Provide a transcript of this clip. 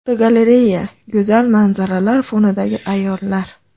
Fotogalereya: Go‘zal manzaralar fonidagi ayollar.